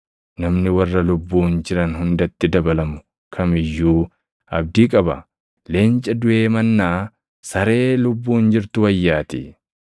Namni warra lubbuun jiran hundatti dabalamu kam iyyuu abdii qaba. Leenca duʼee mannaa saree lubbuun jirtu wayyaatii!